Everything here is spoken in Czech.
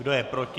Kdo je proti?